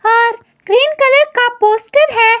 और green colour poster है।